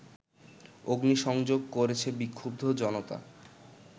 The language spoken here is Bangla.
অগ্নিসংযোগ করেছে বিক্ষুব্ধ জনতা